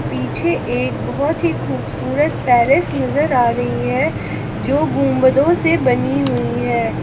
पीछे एक बहोत ही खूबसूरत पैलेस नजर आ रही है जो गुंबदों से बनी हुई है।